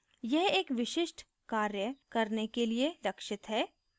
यह एक विशिष्ट कार्य करने के लिए लक्षित है